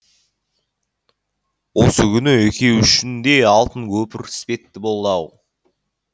осы күні екеуі үшін де алтын көпір іспетті болды ау